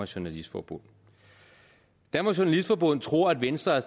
journalistforbund dansk journalistforbund tror at venstre har